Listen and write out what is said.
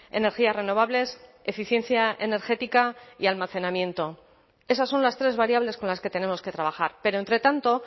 energías renovables eficiencia energética y almacenamiento esas son las tres variables con las que tenemos que trabajar pero entre tanto